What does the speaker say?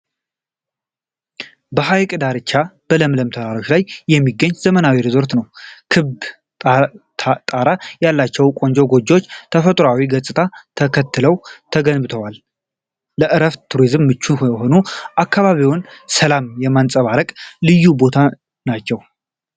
በሐይቅ ዳርቻና በለምለም ተራሮች ላይ የሚገኝ ዘመናዊ ሪዞርት ነው። ክብ ጣራ ያላቸው ቆንጆ ጎጆዎች ተፈጥሯዊ ገጽታውን ተከትለው ተገንብተዋል። ለእረፍትና ለቱሪዝም ምቹ የሆነ፣ የአካባቢውን ሰላም የሚያንጸባርቅ ልዩ ቦታ ነው።